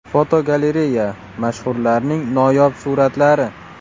Fotogalereya: Mashhurlarning noyob suratlari.